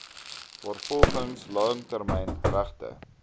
waarvolgens langtermyn regte